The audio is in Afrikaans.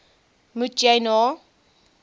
moet jy na